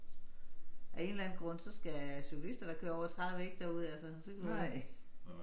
Af en eller anden grund så skal cykelister der kører over 30 ikke derud altså det jo